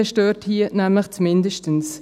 Dann stört hier nämlich das «mindestens».